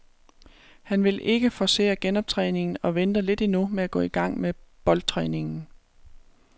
Han vil ikke forcere genoptræningen og venter lidt endnu med at gå i gang med boldtræningen.